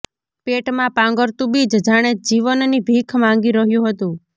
પેટમાં પાંગરતું બીજ જાણે જીવનની ભીખ માંગી રહ્યું હતું